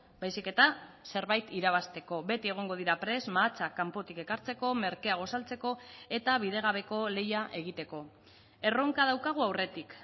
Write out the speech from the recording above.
baizik eta zerbait irabazteko beti egongo dira prest mahatsak kanpotik ekartzeko merkeago saltzeko eta bidegabeko lehia egiteko erronka daukagu aurretik